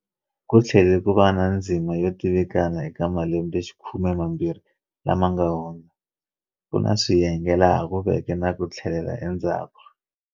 Ku tlhele ku va na ndzima yo tivikana eka malembexikhume mambirhi lama nga hundza, ku na swiyenge laha ku veke na ku tlhelela endzhaku.